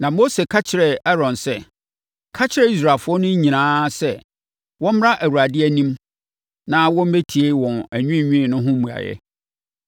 Na Mose ka kyerɛɛ Aaron sɛ, “Ka kyerɛ Israelfoɔ no nyinaa sɛ wɔmmra Awurade anim na wɔmmɛtie wɔn anwiinwii no ho mmuaeɛ.”